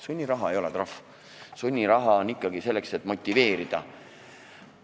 Sunniraha ei ole trahv, sunniraha on mõeldud ikkagi selleks, et motiveerida.